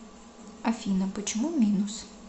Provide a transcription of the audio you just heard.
афина почему минус